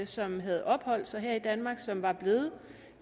som havde opholdt sig her i danmark som var blevet